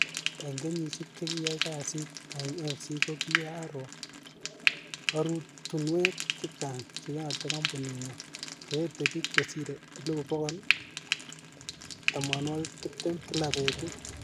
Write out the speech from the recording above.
Ing kenyishek che kiaai kasit ing AFC ko kiaroo orotunwek chechang che yate kampunit nyo, che ete pik che sire 120,000 kila petut.